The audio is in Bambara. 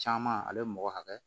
Caman ale bɛ mɔgɔ hakɛ